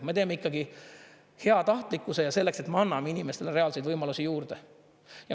Me teeme ikkagi heatahtlikkuses ja selleks, et me anname inimestele reaalseid võimalusi juurde.